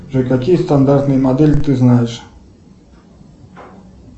джой какие стандартные модели ты знаешь